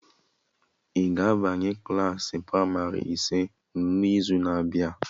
Ị ga-abanye Klassị pramarị ise n'izu na abịa?